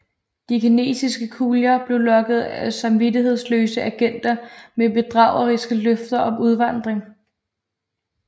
De kinesiske kulier blev lokket af samvittighedsløse agenter med bedrageriske løfter om udvandring